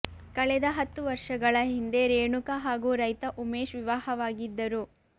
ಕಳೆದ ಹತ್ತು ವರ್ಷಗಳ ಹಿಂದೆ ರೇಣುಕಾ ಹಾಗೂ ರೈತ ಉಮೇಶ್ ವಿವಾಹವಾಗಿದ್ದರು